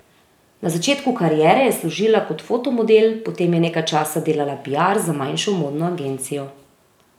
Na začetku kariere je služila kot fotomodel, potem je nekaj časa delala piar za manjšo modno agencijo.